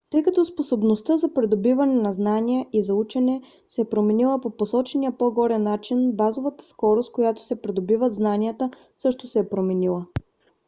тъй като способността за придобиване на знания и за учене се е променила по посочения по-горе начин базовата скорост с която се придобиват знанията също се е променила